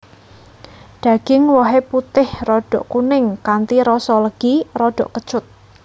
Daging wohé putih rada kuning kanthi rasa legi rada kecut